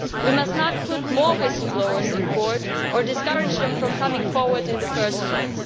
We must not put more whistle blowers in court or discourage them from coming forward in the first place.